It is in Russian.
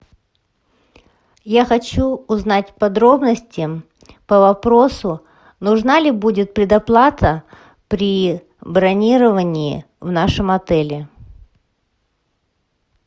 я хочу узнать подробности по вопросу нужна ли будет предоплата при бронировании в нашем отеле